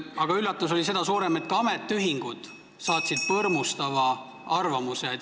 Aga ka ametiühingud saatsid põrmustava arvamuse.